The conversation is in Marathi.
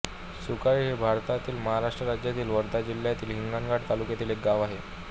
सुकळी हे भारतातील महाराष्ट्र राज्यातील वर्धा जिल्ह्यातील हिंगणघाट तालुक्यातील एक गाव आहे